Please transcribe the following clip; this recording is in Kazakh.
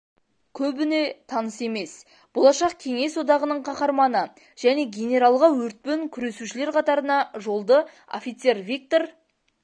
көбіне таныс емес болашақ кеңес одағының қаһарманы және генералға өртпен күресушілер қатарына жолды офицер виктор